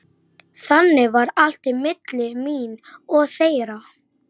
Strákur sem ég þekki setti spritt í brauð.